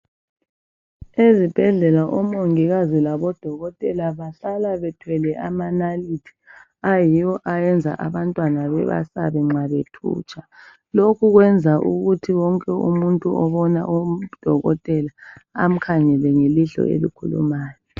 Ezibhedlela oMongikazi labo Dokotela bahlala bethwele amanalithi ayiwo ayenza abantwana bebasabe nxa bethutsha. Lokhu kwenza ukuthi wonke umuntu obona oDokotela amkhangele ngelihlo elikhulumayo.